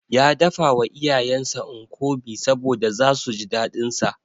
Ya dafawa iyayensa Nkwobi saboda zasu ji daɗinsa.